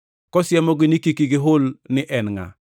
kosiemogi ni kik gihul ni en ngʼa.